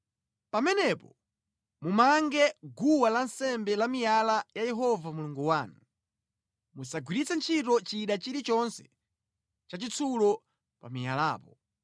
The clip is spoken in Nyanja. Pamenepo mumange guwa lansembe la miyala la Yehova Mulungu wanu. Musagwiritse ntchito chida chilichonse chachitsulo pa miyalapo.